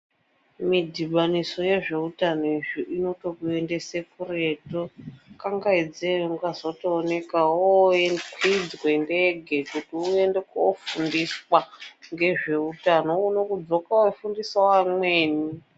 Midhibaniso yezveutano izvi inotokuendese kuretu kangaidze ungazotooneka woye kwidzwe ndege kuti uyende kofundiswa ngezveutano uone kudzoka weifundisawo vamweni